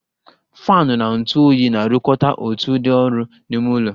Faanụ na ntụ oyi na-arụkọta otu ụdị ọrụ n'ime ụlọ